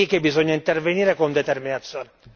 È lì che bisogna intervenire con determinazione.